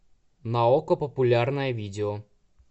на окко популярное видео